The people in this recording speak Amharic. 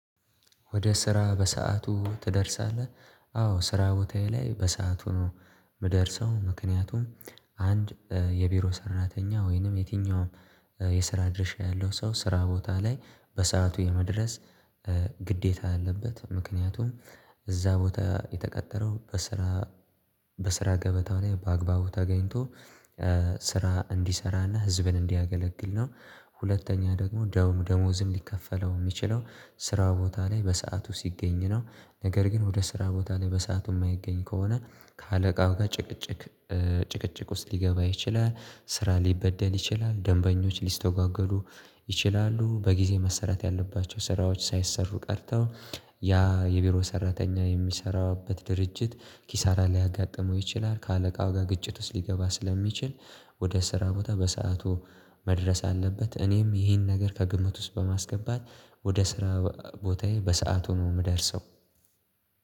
ወደ ስራ በሰአቱ ትደርሳለህ? አዎ ስራ ቦታዬ ላይ በሰአቱ ምደርሰው ምክንያቱም አንድ የቢሮ ሰራተኛ ወይንም የትኛውም የስራ ድርሻ ያለው ሰው ስራ ቦታ ላይ በሰአቱ የመድረስ ግዴታ አለበት ምክንያቱም እዛ ቦታ የተቀጠረው በስራ በስራ ገበታው ላይ በአግባቡ ተገኝቶ ስራ እንዲሰራና ህዝብን እንዲያገለግል ነው። ሁለተኛ ደግሞ ደሞ ደሞውዝም ሊከፈለው ሚችለው ስራ ቦታ ላይ በሰአቱ ሲገኝ ነው። ነገር ግን ወደ ስራ ቦታ ላይ በሰአቱ ማይገኝ ከሆነ ከአለቃው ጋር ጭቅጭቅ ጭቅጭቅ ውስጥ ሊገባ ይችላል ስራ ሊበደል ይችላል ደንበኞች ሊስተጓጎሉ ይችላሉ። በጊዜ መሰራት ያለባቸው ስራዎች ሳይሰሩ ቀርተው ያ የቢሮ ሰራተኛ የሚሰራበት ድርጅት ኪሳራ ሊያጋጥመው ይችላል። ከአለቃው ጋር ግጭት ውስጥ ሊገባ ስለሚችል ወደ ስራ ቦታ በሰአቱ መድረስ አለበት። እኔም ይሄን ነገር ከግምት ውስጥ በማስገባት ወደ ስራ ቦታዬ በሰአት ነው ምደርሰው።